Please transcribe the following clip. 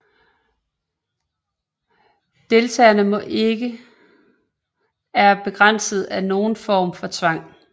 Deltagerne må ikke er begrænset af nogen form for tvang